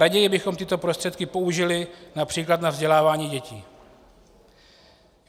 Raději bychom tyto prostředky použili například na vzdělávání dětí.